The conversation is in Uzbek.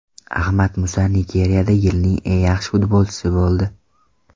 Ahmad Musa Nigeriyada yilning eng yaxshi futbolchisi bo‘ldi.